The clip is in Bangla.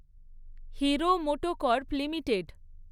hero MotoCorp limited